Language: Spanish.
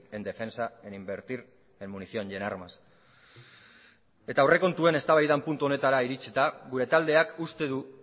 en defensa en invertir en munición y en armas eta aurrekontuen eztabaidaren puntu honetara iritsita gure taldeak uste du